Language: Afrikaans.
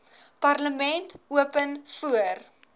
parlement open voor